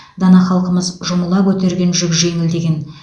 дана халқымыз жұмыла көтерген жүк жеңіл деген